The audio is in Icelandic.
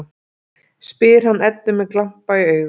spyr hann Eddu með glampa í augum.